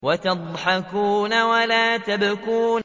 وَتَضْحَكُونَ وَلَا تَبْكُونَ